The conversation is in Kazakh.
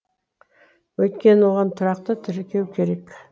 өйткені оған тұрақты тіркеу керек